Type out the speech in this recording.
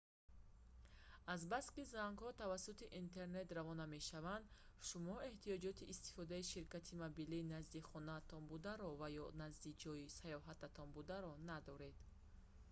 азбаски зангҳо тавассути интернет равона мешаванд шумо эҳтиёҷоти истифодаи ширкати мобилии назди хонаатон бударо ва ё назди ҷойи саёҳататон бударо надоред